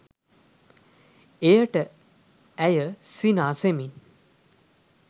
එයට ඇය සිනාසෙමින්